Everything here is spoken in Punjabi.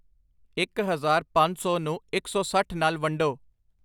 ਇੱਕ ਹਜ਼ਾਰ ਪੰਜ ਸੌ ਨੂੰ ਇੱਕ ਸੌ ਸੱਠ ਨਾਲ ਵੰਡੋ